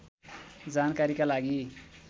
जानकारीका लागि